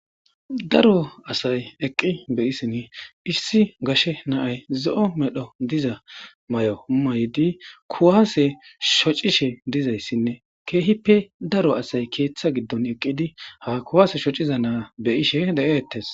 daro asay eqqi beyisin issi gashe naay zo'o medho diza mayo maydi kuwaase shocishe dizayssinne keehippe daro asay keeththa giddon eqqidi ha kuwaase shociza naa beyishe de'eettes